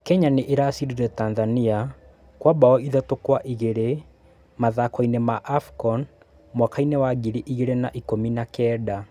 Kenya nĩ ĩracidire Tathania Kwa mbao ithatũ kwa igĩrĩ matahakoinĩ ma AFCON mwakainĩ wa ngiri ĩgĩrĩ na ikũmi na kenda.